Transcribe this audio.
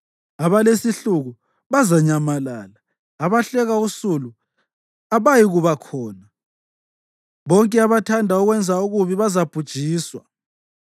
Abalesihluku bazanyamalala, abahleka usulu abayikuba khona, bonke abathanda ukwenza okubi bazabhujiswa,